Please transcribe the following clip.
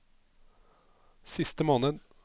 siste måned